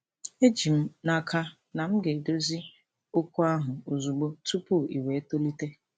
Eji m n'aka na m ga-edozi okwu ahụ ozugbo, tupu iwe tolite.